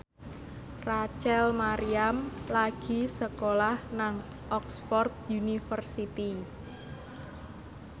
Rachel Maryam lagi sekolah nang Oxford university